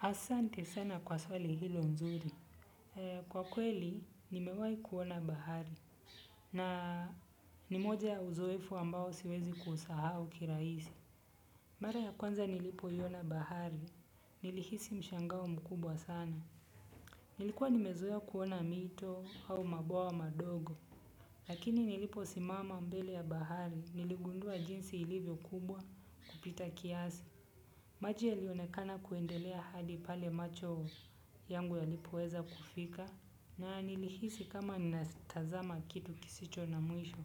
Asante sana kwa swali hilo nzuri. Kwa kweli, nimewai kuona bahari. Na ni moja ya uzoefu ambao siwezi kusahau kiraisi. Mbara ya kwanza nilipo iyona bahari, nilihisi mshangao mkubwa sana. Nilikuwa nimezoea kuona mito au mabwawa madogo. Lakini nilipo simama mbele ya bahari, niligundua jinsi ilivyo kubwa kupita kiasi. Maji yalionekana kuendelea hadi pale macho yangu yalipoeza kufika na nilihisi kama natazama kitu kisicho na mwisho.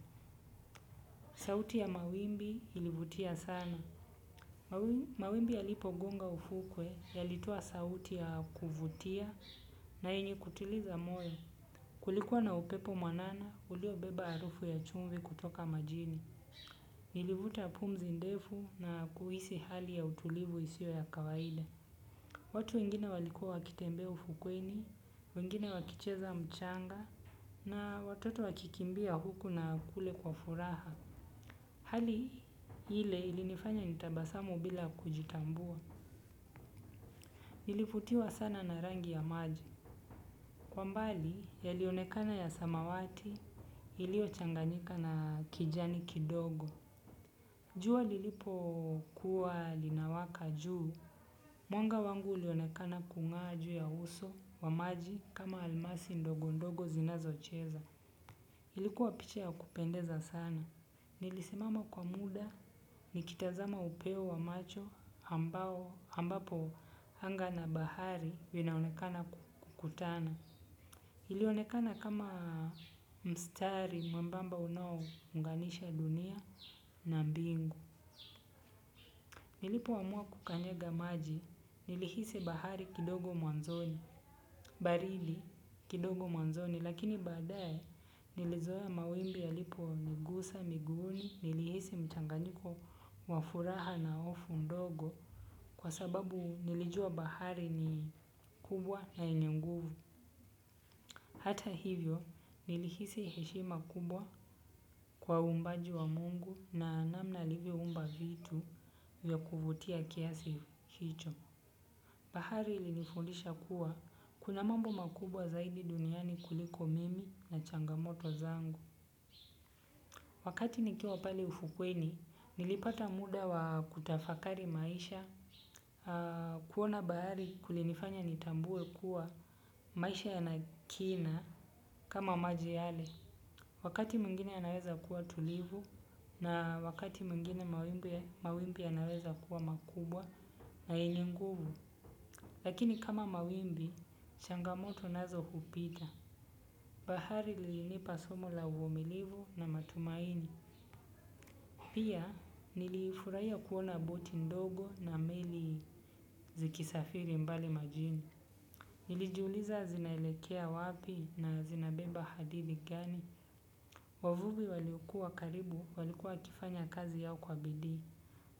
Sauti ya mawimbi ilivutia sana. Mawimbi ya lipo gunga ufukwe ya litua sauti ya kuvutia na yenye kutiliza moyo. Kulikuwa na upepo mwanana uliobeba arufu ya chumvi kutoka majini. Ilivuta pumzi ndefu na kuhisi hali ya utulivu isio ya kawaida. Watu wengine walikua wakitembe ufukwini, wengine wakicheza mchanga, na watoto wakikimbia huku na kule kwa furaha. Hali hile ilinifanya nitabasamu bila kujitambua. Nilivutiwa sana na rangi ya maji. Kwa mbali, ya lionekana ya samawati, ilio changanyika na kijani kidogo. Jua lilipo kuwa linawaka juu, mwanga wangu ilionekana kunga juu ya uso wa maji kama almasi ndogo ndogo zinazo cheza. Ilikuwa piche ya kupendeza sana. Nilisimama kwa muda, nikitazama upeo wa macho ambapo hnga na bahari vinaonekana kukutana. Ilionekana kama mstari mwembamba unanganisha dunia na mbingu. Nilipo amua kukanyega maji nilihisi bahari kidogo mwanzoni, baridi kidogo mwanzoni lakini badaye nilizoea mawimbi ya lipo nigusa, miguuni, nilihisi mchanganyiko wafuraha na ofu ndogo kwa sababu nilijua bahari ni kubwa na yenye nguvu. Hata hivyo nilihisi heshima kubwa kwa umbaji wa mungu na namna alivyo umba vitu ya kuvutia kiasi hicho. Bahari ilinifundisha kuwa, kuna mambo makubwa zaidi duniani kuliko mimi na changamoto zangu. Wakati nikiwa pali ufukweni, nilipata muda wa kutafakari maisha. Kuona bahari kulinifanya nitambuwe kuwa maisha yana kina kama maji yale. Wakati mwingine yanareza kuwa tulivu na wakati mwingine mawimbi yanaweza kuwa makubwa na yenye nguvu. Lakini kama mawimbi, changamoto nazo hupita. Bahari lilinipa somo la utulivu na matumaini. Pia nilifuraia kuona boti ndogo na meli zikisafiri mbali majini. Nilijiuliza zinaelekea wapi na zinabeba hadidhi gani. Wavuvi walikua karibu walikua kifanya kazi yao kwa bidii.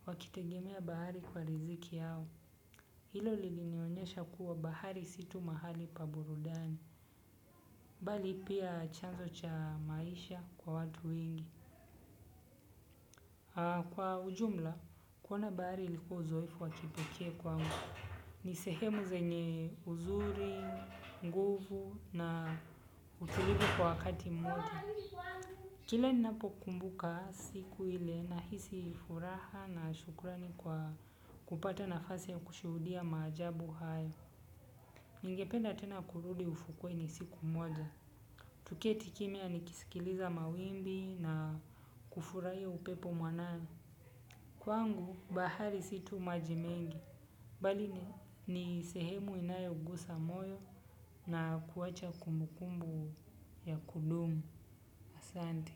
Wakitegemea bahari kwa riziki yao hilo lilinionyesha kuwa bahari si tu mahali pa burudani. Mbali pia chanzo cha maisha kwa watu wengi. Kwa ujumla, kuona bahari liku uzoifu wakipeke kwangu. Ni sehemu zenye uzuri, nguvu na utulivu kwa wakati mmoja. Kile napo kumbuka siku ile nahisi furaha na shukrani kwa kupata nafasi ya kushudia maajabu haya. Ningependa tena kurudi ufukweni siku moja. Tuketi kimea nikisikiliza mawimbi na kufurai upepo mwanana. Kwangu, bahari situ maji mengi. Bali ni sehemu inayo ugusa moyo na kuwacha kumbukumbu ya kudumu. Asante.